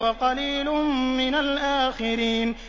وَقَلِيلٌ مِّنَ الْآخِرِينَ